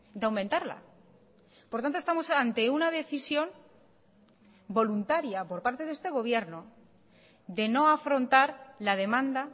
de aumentarla por tanto estamos ante una decisión voluntaria por parte de este gobierno de no afrontar la demanda